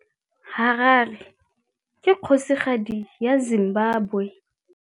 Harare ke kgosigadi ya Zimbabwe.